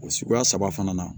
O suguya saba fana na